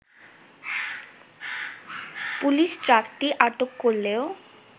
police ট্রাকটি আটক করলেও